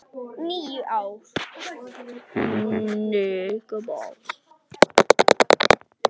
. níu ár!